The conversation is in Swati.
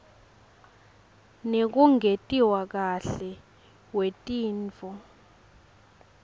nekungentiwa kahle wetintfo